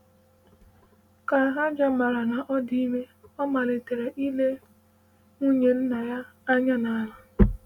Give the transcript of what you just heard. Ka Hajar mara na ọ dị ime, ọ malitere ile nwunye nna ya anya n’ala.